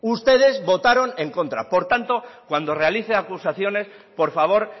ustedes votaron en contra por tanto cuando realice acusaciones por favor